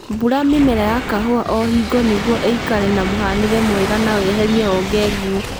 Bura mĩmera ya kahũa o hingo nĩguo ĩikare na mũhanĩre mwega na weherie honge nguũ